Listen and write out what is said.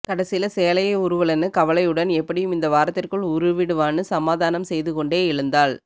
கடைசில சேலைய உருவலன்னு கவலையுடன் எப்படியும் இந்த வாரத்திற்குள் உருவிடுவான்னு சமாதானம் செய்து கொண்டே எழுந்தாள்